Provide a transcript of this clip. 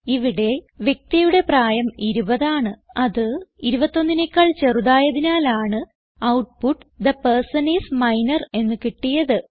ഇവിടെ വ്യക്തിയുടെ പ്രായം 20 ആണ് അത് 21നെക്കാൾ ചെറുതായതിനാലാണ് output the person is minor എന്ന് കിട്ടിയത്